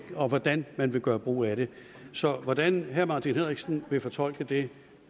og hvordan man vil gøre brug af det så hvordan herre martin henriksen vil fortolke det